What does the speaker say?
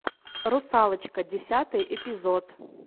русалочка десятый эпизод